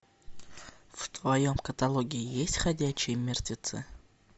в твоем каталоге есть ходячие мертвецы